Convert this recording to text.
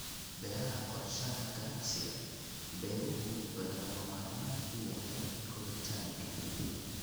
Beeraha Qorshaha ganacsiga beeruhu wuxuu lagama maarmaan u yahay koritaanka.